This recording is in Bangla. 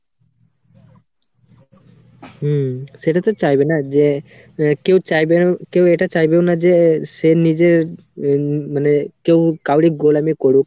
হম সেটাই তো চাইবে না যে কেউ চাইবে, কেউ এটা চাইবেও না যে সে নিজের মানে কেউ কাউরি গোলামী করুক